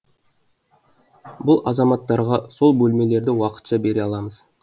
бұл азаматтарға сол бөлмелерді уақытша бере аламыз